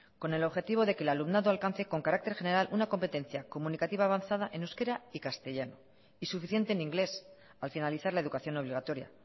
con el objetivo de que el alumnado alcance con carácter general una competencia comunicativa avanzada en euskera y castellano y suficiente en inglés al finalizar la educación obligatoria